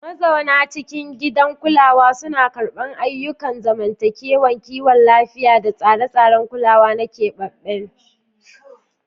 Mazauna cikin gidajen kulawa suna karɓar ayyukan zamantakewa, kiwon lafiya, da tsare-tsaren kulawa na keɓaɓɓen.